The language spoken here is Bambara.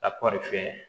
Ka kɔri sɛnɛ